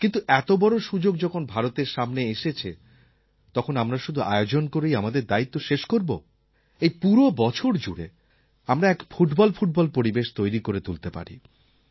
কিন্তু এত বড় সুযোগ যখন ভারতের সামনে এসেছে তখন আমরা শুধু আয়োজন করেই আমাদের দায়িত্ব শেষ করব এই পুরো বছর জুড়ে আমরা এক ফুটবলফুটবল পরিবেশ তৈরি করে তুলতে পারি